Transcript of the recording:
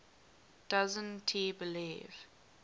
doesn t believe